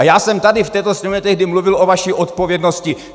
A já jsem tady v této sněmovně tehdy mluvil o vaší odpovědnosti.